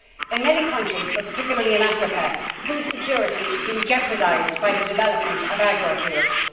In many countries, but particularly in Africa, food security is being jeopardised by the development of agrofuels.